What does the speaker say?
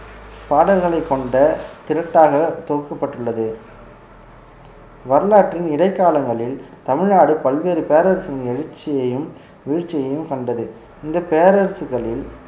பாடல்களை கொண்ட திரட்டாக தொகுக்கப்பட்டுள்ளது வரலாற்றின் இடைக்காலங்களில் தமிழ்நாடு பல்வேறு பேரரசின் எழுச்சியையும் வீழ்ச்சியையும் கண்டது இந்த பேரரசுகளில்